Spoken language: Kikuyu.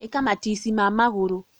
ĩka matici ma magũrũ